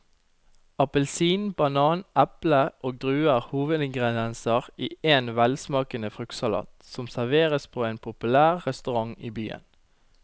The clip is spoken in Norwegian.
Appelsin, banan, eple og druer er hovedingredienser i en velsmakende fruktsalat som serveres på en populær restaurant i byen.